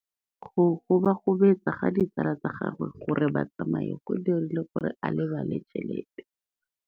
Go gobagobetsa ga ditsala tsa gagwe, gore ba tsamaye go dirile gore a lebale tšhelete.